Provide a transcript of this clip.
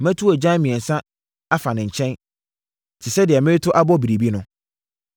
Mɛto agyan mmiɛnsa afa ne nkyɛn, te sɛ deɛ mereto abɔ biribi no.